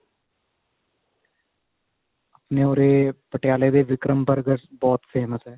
ਆਪਣੇ ਉਰੇ ਪਟਿਆਲੇ ਦੇ ਵਿਕਰਮ burger ਬਹੁਤ famous ਏ